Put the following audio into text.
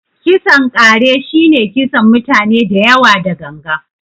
kisan ƙare shi ne kisan mutane dayawa da gangan.